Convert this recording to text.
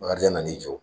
Bakarijan na n'i jɔ